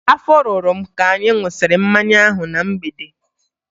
Afọ rụrụ m ka anyị ṅụsịrị mmanya ahụ na mgbede